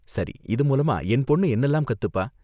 சரி, இது மூலமா என் பொண்ணு என்னலாம் கத்துப்பா?